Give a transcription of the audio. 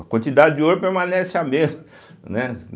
A quantidade de ouro permanece a mesma. né